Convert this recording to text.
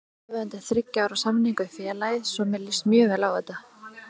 Ég skrifaði undir þriggja ára samning við félagið svo mér líst mjög vel á þetta.